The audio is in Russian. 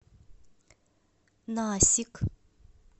насик